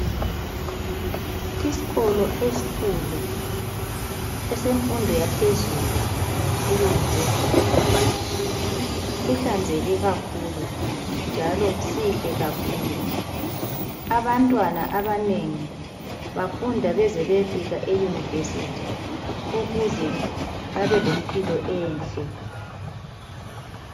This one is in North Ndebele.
Iskolo esikhulu esemfundo yaphezulu eyunivesithi, kuhlanzeke kakhulu, njalo sihle kakhulu. Abantwana abanengi bafunda baze bayefika eyunivesithi ukuze babe lempilo enhle.